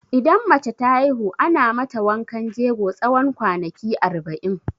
Idan mace ta haihu, ana mata wankan jego tsawon kwanaki arba'in.